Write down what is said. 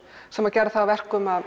sem gerði það að verkum að